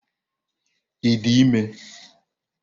Ị dị ime?